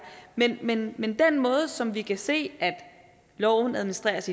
men med den måde som vi kan se loven administreres